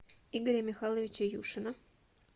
игоря михайловича юшина